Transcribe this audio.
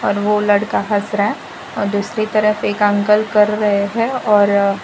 और वो लड़का हंस रहा है और दूसरी तरफ एक अंकल कर रहे है और--